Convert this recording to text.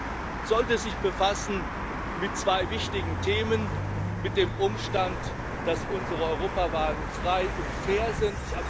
Der Gipfel sollte sich mit zwei wichtigen Themen befassen mit dem Umstand, dass unsere Europawahlen frei und fair sind.